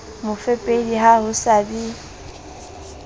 mofepedi ha ho sa be